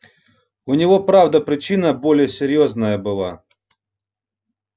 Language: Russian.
у него правда причина более серьёзная была